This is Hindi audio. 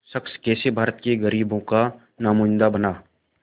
वो शख़्स कैसे भारत के ग़रीबों का नुमाइंदा बना